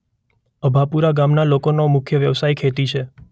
અભાપુરા ગામના લોકોનો મુખ્ય વ્યવસાય ખેતી છે.